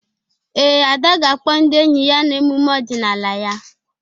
Ee, Ada ga-akpọ ndị enyi ya na emume ọdịnala ya.